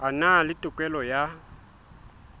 a na le tokelo ya